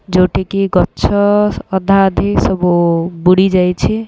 ଯୋଉଠିକି ଗଛ ଅଧା ଅଧି ବୁଡି ଯାଇଛି।